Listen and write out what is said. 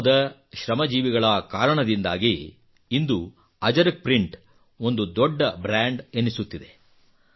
ಗ್ರಾಮದ ಶ್ರಮಜೀವಿಗಳ ಕಾರಣದಿಂದಾಗಿ ಇಂದು ಅಜರಕ್ ಪ್ರಿಂಟ್ ಒಂದು ದೊಡ್ಡ ಬ್ರಾಂಡ್ ಎನಿಸುತ್ತಿದೆ